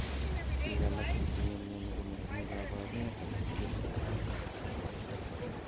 Pik alak chetinye mioni komotinye koporunet agetugul nepo mioni.